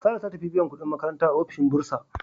Sarah ta tafi biyan kudin makaranta a ofishin Bursa.